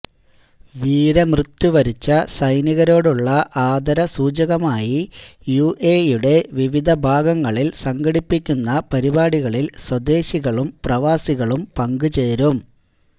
വീരമൃത്യു വരിച്ച സൈനികരോടുള്ള ആദരസൂചകമായി യുഎഇയുടെ വിവിധ ഭാഗങ്ങളില് സംഘടിപ്പിക്കുന്ന പരിപാടികളില് സ്വദേശികളും പ്രവാസികളും പങ്കുചേരും